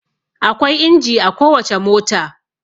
Akwai inji a kowace mota.